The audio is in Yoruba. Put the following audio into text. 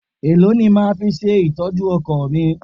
Èló ni o máa fi ṣe ìtọ́jú ọkọ̀ mi?